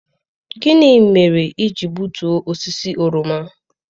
Gịnị mere i ji gbutuo osisi oroma?